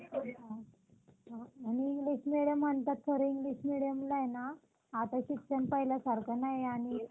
मोठ्या प्रमाणात कच्च्या मालाची गरज असते. तर मग हे कच्चा माल येतो कुठून, तर आपण बघितलं तर यासाठी अं ज्या कच्च्या मालाची गरज असेल अं म्हणजे आता suppose अं अं